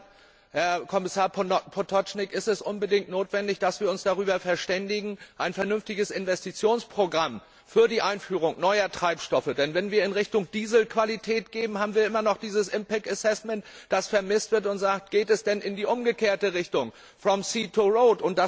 Deshalb, Herr Kommissar Potočnik, ist es unbedingt notwendig, dass wir uns über ein vernünftiges Investitionsprogramm für die Einführung neuer Treibstoffe verständigen, denn wenn wir in Richtung Dieselqualität gehen, haben wir immer noch dieses impact assessment das vermisst wird und sagt, geht es denn in die umgekehrte Richtung, from sea to road